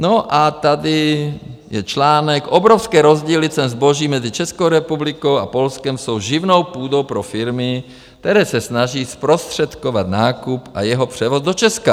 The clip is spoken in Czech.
No a tady je článek: Obrovské rozdíly cen zboží mezi Českou republikou a Polskem jsou živnou půdou pro firmy, které se snaží zprostředkovat nákup a jeho převoz do Česka.